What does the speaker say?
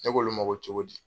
Ne b'olu ma ko cogo di?